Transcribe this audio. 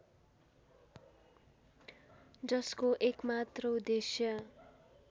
जसको एकमात्र उद्देश्य